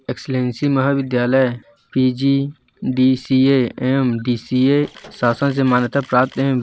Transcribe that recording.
Excellency महाविद्यालय PGDCA एवं DCA शासन से मान्यता प्राप्त हैं।